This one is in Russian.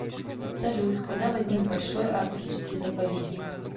салют когда возник большой арктический заповедник